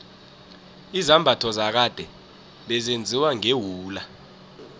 izambatho zakade bezenziwa ngewula